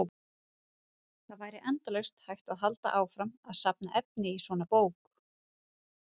Það væri endalaust hægt að halda áfram að safna efni í svona bók.